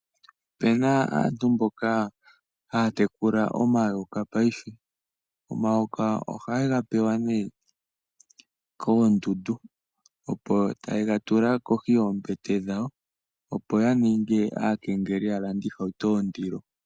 Opena aantu mboka haya tekula omayoka payife . Omayoka oha yega pewa nee koonganga yo tayega tula kohi yoombete dhawo opo yaninge aakengeleli ya lande oohauto dhondilo.